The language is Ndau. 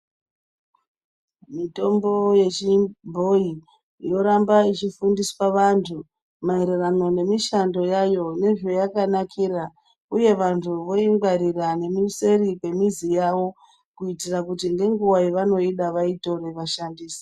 Mitombo ye chibhoyi yoramba ichi fundiswa vantu ma ererano ne mishando yayo ne zvayaka nakira uye vantu voingwarira ne miseri kwe mizi yavo kuitira kuti nenguva yavanoida vatore vashandise.